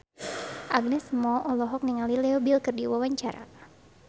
Agnes Mo olohok ningali Leo Bill keur diwawancara